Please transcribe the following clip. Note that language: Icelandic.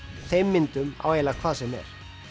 þeim myndum á eiginlega hvað sem er